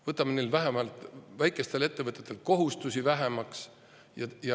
Võtame vähemalt väikestelt ettevõtetelt kohustusi vähemaks.